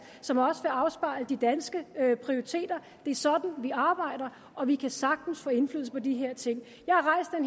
som også vil afspejle de danske prioriteter det er sådan vi arbejder og vi kan sagtens få indflydelse på de her ting